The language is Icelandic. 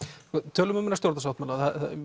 tölum um þennan stjórnarsáttmála